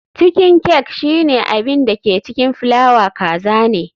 Chiken cake shine abin da ke cikin fulawa kaza ne.